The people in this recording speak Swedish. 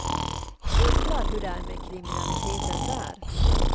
Undrar hur det är med kriminaliteten där.